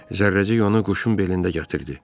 Zərrəcik onu quşun belində gətirdi.